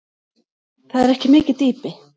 Það er ekki mikið dýpi.